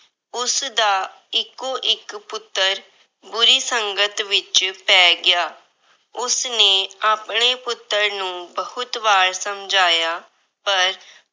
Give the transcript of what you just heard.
ਉਸਦਾ ਇੱਕੋ-ਇੱਕ ਪੁੱਤਰ ਬੁਰੀ ਸੰਗਤ ਵਿੱਚ ਪੈ ਗਿਆ। ਉਸਨੇ ਆਪਣੇ ਪੁੱਤਰ ਨੂੰ ਬਹੁਤ ਵਾਰ ਸਮਝਾਇਆ ਪਰ